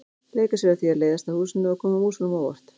Leika sér að því að læðast að húsinu og koma músunum á óvart.